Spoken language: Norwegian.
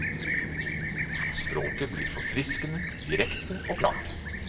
Språket blir forfriskende direkte og klart.